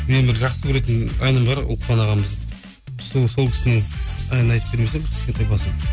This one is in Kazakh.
менің бір жақсы көретін әнім бар ұлықпан ағамыздың сол кісінің әнін айтып бермесем кішкентай басын